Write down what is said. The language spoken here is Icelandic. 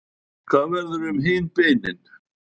hvað verður um hin beinin